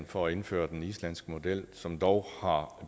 for at indføre den islandske model som dog har